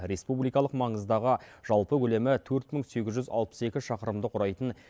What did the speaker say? республикалық маңыздағы жалпы көлемі төрт мың сегіз жүз алпыс екі шақырымды құрайтын